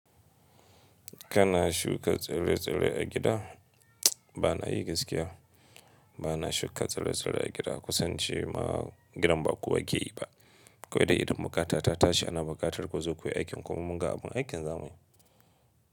Kana shuka tsire-tsire a gida? Ba na yi gaskiya, ba na shuka tsire-tsire a gida kusan ince ma gidan ba kowa ke yi ba. Kwai dai idan buƙata ta tashi ana buƙatar ku zo kuyi aikin kuma munga abun aikin za muyi.